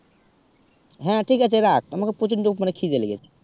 হেঁ ঠিক আছে রাখ আমাকে প্রচন্ড উপমার খিদে লেগেছে